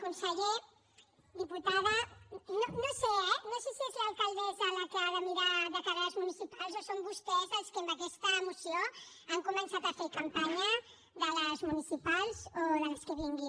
conseller diputada no sé eh no sé si és l’alcaldessa la que ha de mirar de cara a les municipals o són vostès els que amb aquesta moció han començat a fer campanya de les municipals o de les que vinguin